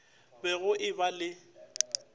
be go e ba le